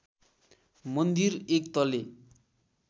मन्दिर एक तले